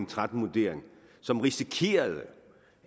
tretten vurdering som risikerede